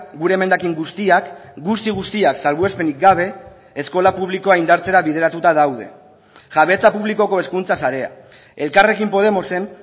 gure emendakin guztiak guzti guztiak salbuespenik gabe eskola publikoa indartzera bideratuta daude jabetza publikoko hezkuntza sarea elkarrekin podemosen